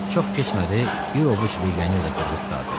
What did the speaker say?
Çox keçmədi, bir ovuc legioner də qırılıb qurtardı.